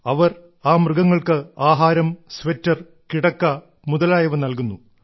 അവർ ആ മൃഗങ്ങൾക്ക് ആഹാരം സ്വെറ്റർ കിടക്ക മുതലായവ നൽകുന്നു